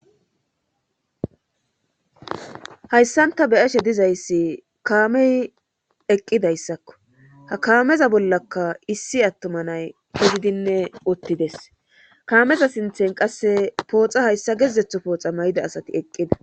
Hayssanta beyashe dizayssi kaamey eqqidayssakko ha kaameza bollaka issi attoma nay podidinne ottides kaameza sinthen qasse pooxa hayssa gedzetho pooxa mayida asati eqqida